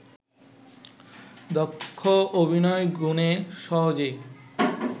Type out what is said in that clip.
দক্ষ অভিনয়গুণে সহজেই